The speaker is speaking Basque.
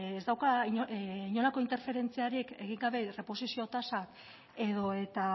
ez dauka inolako interferentziarik egin gabe erresposizio tasa edo eta